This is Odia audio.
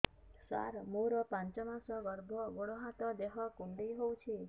ସାର ମୋର ପାଞ୍ଚ ମାସ ଗର୍ଭ ଗୋଡ ହାତ ଦେହ କୁଣ୍ଡେଇ ହେଉଛି